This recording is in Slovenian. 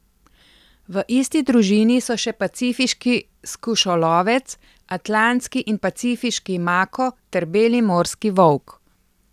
V isti družini so še pacifiški skušolovec, atlantski in pacifiški mako ter beli morski volk.